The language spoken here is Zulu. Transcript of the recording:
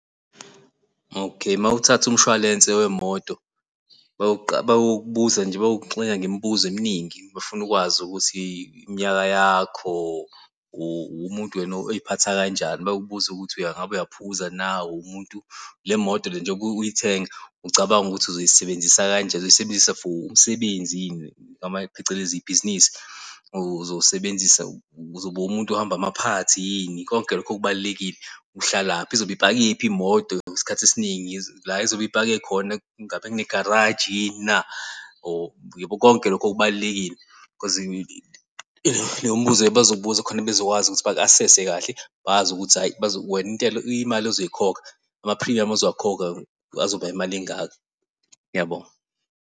Okay, mawuthatha umshwalense wemoto bayokubuza nje bayokuxina ngemibuzo eminingi bafuna ukwazi ukuthi iminyaka yakho, uwumuntu wena oziphatha kanjani, bakubuze ukuthi ingabe uyaphuza na, uwumuntu le moto le njengoba uyithenga, ucabanga ukuthi uzoyisebenzisa kanjani, ozoyisebenzisa for umsebenzi yini, phecelezi ibhizinisi. Uzosebenzisa uzoba umuntu ohamba amaphathi yini konke lokhu kubalulekile, uhlalaphi izobe ipakephi imoto isikhathi esiningi, la izobe ipake khona ingabe kunegaraji yini na or yabo, konke lokhu kubalulekile khozi lowo mbuzo bazowubuza khona bazokwazi ukuthi baku-asese kahle, bazi ukuthi hhayi wena imali ozoyikhokha amaphrimuyamu ozwakhokha azoba imali engaka. Ngiyabonga.